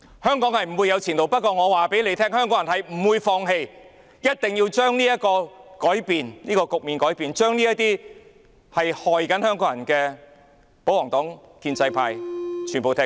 香港不會有前途，但香港人不會放棄，一定會將這個局面改變，將這些危害香港人的保皇黨、建制派全部趕走。